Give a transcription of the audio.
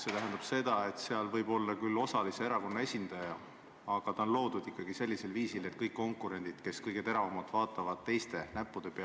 See tähendab seda, et komisjonis on küll erakondade esindajad, aga ta on loodud ikkagi põhimõttel, et konkurendid vaatavad kõige teravamalt teiste näppude peale.